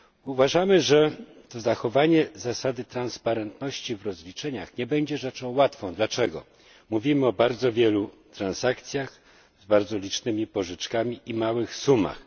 Uważamy, że zachowanie zasady transparentności w rozliczeniach nie będzie rzeczą łatwą. Dlaczego? Mówimy o bardzo wielu transakcjach, z bardzo licznymi pożyczkami i o małych sumach.